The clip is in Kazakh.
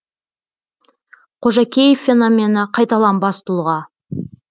қожакеев феномені қайталанбас тұлға